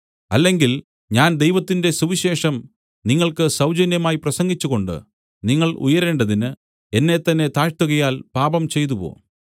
അല്ലെങ്കിൽ ഞാൻ ദൈവത്തിന്റെ സുവിശേഷം നിങ്ങൾക്ക് സൗജന്യമായി പ്രസംഗിച്ചുകൊണ്ട് നിങ്ങൾ ഉയരേണ്ടതിന് എന്നെത്തന്നെ താഴ്ത്തുകയാൽ പാപം ചെയ്തുവോ